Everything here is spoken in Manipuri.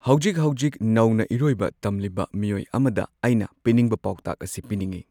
ꯍꯧꯖꯤꯛ ꯍꯧꯖꯤꯛ ꯅꯧꯅ ꯏꯔꯣꯏꯕ ꯇꯝꯂꯤꯕ ꯃꯤꯑꯣꯏ ꯑꯃꯗ ꯑꯩꯅ ꯄꯤꯅꯤꯡꯕ ꯄꯥꯎꯇꯥꯛ ꯑꯁꯤ ꯄꯤꯅꯤꯡꯉꯤ꯫